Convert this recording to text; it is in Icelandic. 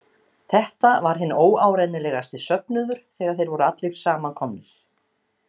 Þetta var hinn óárennilegasti söfnuður þegar þeir voru allir saman komnir.